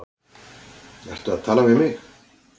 Ertu að tala við mig?